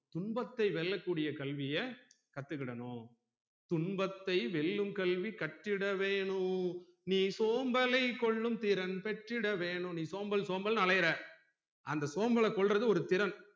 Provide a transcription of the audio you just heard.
துன்பத்தை வெல்ல கூடிய கல்விய கத்துக்கிடனும் துன்பத்தைவெல்லும் கல்வி கற்றிட வேணும் நீ சோம்பலை கொல்லும் திறன் பெற்றிட வேணும் நீ சோம்பல் சோம்பல்னு அலையிற அந்த சோம்பல கொல்றது ஒரு திறன்